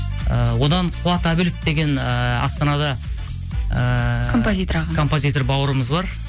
і одан қуат әбілов деген ыыы астанада ыыы композитор ағамыз композитор бауырымыз бар